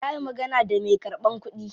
Ya yi magana da me karban kudi.